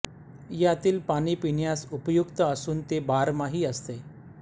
यातील पाणी पिण्यास उपयुक्त असून ते बारमाही असते